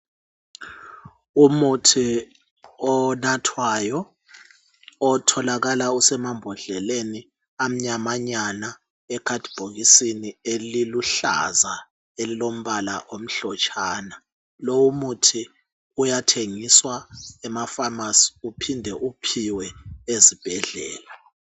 Umuthi onathwayo otholakala usemambhodleleni amnyamanyana, ekhasibhokisini eliluhlaza elilombala omhlotshana. Umuthi uyathengiswa emafamasi uphinde uphiwe ezibhedlela.